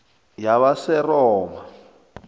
yabaseroma